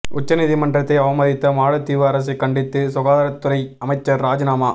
உச்ச நீதிமன்றத்தை அவமதித்த மாலத்தீவு அரசை கண்டித்து சுகாதாரத் துறை அமைச்சர் ராஜினாமா